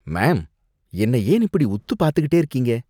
Ma'am! என்னை ஏன் இப்படி உத்து பார்த்துக்கிட்டே இருக்கீங்க?